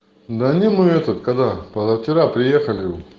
данину этот когда позавчера приехали